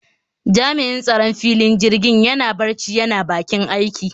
Jami'in tsaron filin jirgin yana barci yana bakin aiki